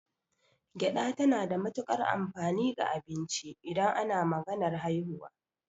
Gyaɗa tana da matukar amfani ga abinci idan ana maganar haihuwa.